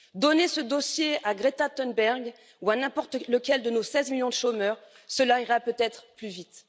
Donnez ce dossier à Greta Thunberg ou à n'importe lequel de nos 16 millions de chômeurs, cela ira peut être plus vite.